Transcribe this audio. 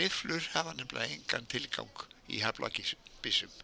Rifflur hafa nefnilega engan tilgang í haglabyssum